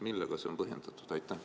Millega see on põhjendatud?